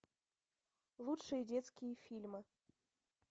лучшие детские фильмы